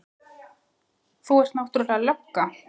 Þú ert náttúrlega lögga.